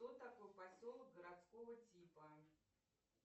кто такой поселок городского типа